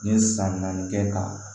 N ye san naani kɛ k'a